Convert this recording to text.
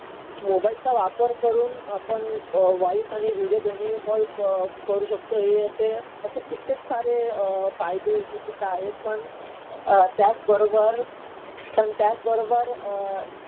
मोबाईलचा वापर करून आपण व्हॉइस आणि व्हिडीओ दोन्ही कॉल करू शकतो. हे असे कित्येक सारे फायदेसुध्दा आहेत. पण त्याचबरोबर, पण त्याचबरोबर अ